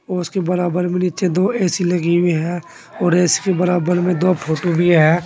ओ उसके बराबर में नीचे दो ए_सी लगी हुई है और इसके बराबर में दो फोटो भी है।